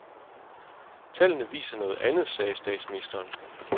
Tallene viser noget andet, sagde statsministeren.